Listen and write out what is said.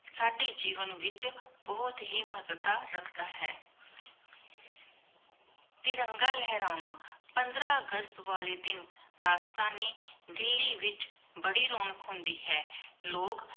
ਸਾਡੀ ਜੀਵਨ ਵਿਚ ਬੁਹਤ ਹੀ ਮਹਤਤਾ ਰੱਖਦਾ ਹੈ ਤਿਰੰਗਾ ਲਹਰਾਉਣਾ ਪੰਦ੍ਰ ਅਗਸਤ ਵਾਲੇ ਦਿਨ ਰਾਜਧਾਨੀ ਦਿੱਲੀ ਵਿਚ ਬੜੀ ਰੋਨਕ਼ ਹੁੰਦੀ ਹੈ ਲੋਗ